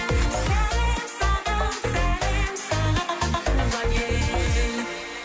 сәлем саған сәлем саған туған ел